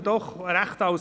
Ich mache es kurz: